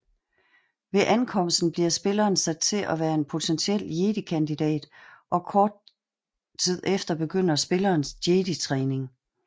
Ved ankomsten bliver spilleren sat til at være en potentiel Jedi kandidat og kort tid efter begynder spillerens jeditræning